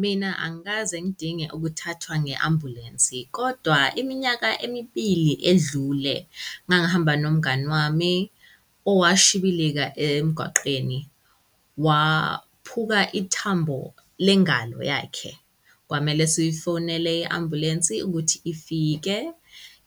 Mina angikaze ngidinge ukuthathwa nge-ambulensi kodwa iminyaka emibili edlule ngangihamba nomngani wami owashibilika emgwaqeni, waphuka ithambo lengalo yakhe. Kwamele sifonele i-ambulensi ukuthi ifike.